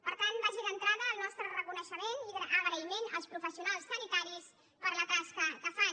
per tant vagi d’entrada el nostre reconeixement i agraïment als professionals sanitaris per la tasca que fan